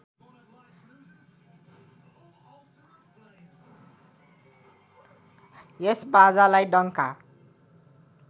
यस बाजालाई डङ्का